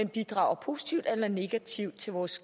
bidrager positivt eller negativt til vores